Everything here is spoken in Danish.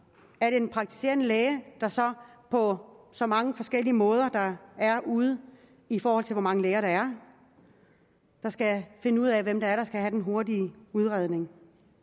er det den praktiserende læge der så på så mange forskellige måder der er derude i forhold til hvor mange læger der er skal finde ud af hvem der skal have den hurtige udredning